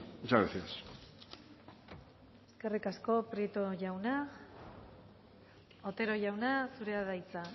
muchas gracias eskerrik asko prieto jauna otero jauna zurea da hitza